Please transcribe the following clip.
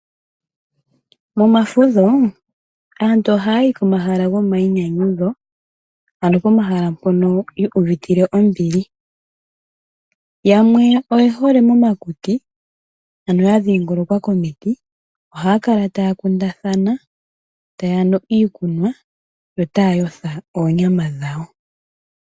Momafudho aantu oha yayi komahala gomayinyanyudho, ano pomahala mpoka yuuvitile ombili, yamwe oye hole momakuti ano ya dhingolokwa komiti. Ohaya kala taya kuundathana taya nu iikunwa yo taya otha oonyama dhawo.